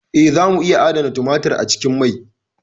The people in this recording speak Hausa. Eh, zamu iya adana tumatir a cikin mai.